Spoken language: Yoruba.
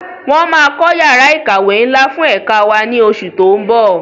Wọn máa kọ́ yàrá ìkàwé ńlá fún ẹ̀ka wá ní oṣù tó ń bọ̀.